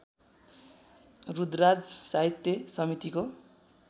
रुद्रराज साहित्य समितिको